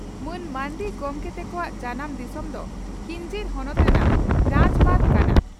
ᱢᱟᱱ ᱢᱟᱨᱱᱰᱤ ᱜᱚᱢᱠᱮ ᱛᱮᱠᱚᱣᱟᱜ ᱡᱟᱱᱟᱢ ᱫᱤᱥᱚᱢ ᱫᱚ ᱠᱤᱧᱡᱷᱤᱨ ᱦᱚᱱᱚᱛ ᱨᱮᱱᱟᱜ ᱨᱟᱡᱽᱵᱟᱸᱫᱷ ᱠᱟᱱᱟ ᱾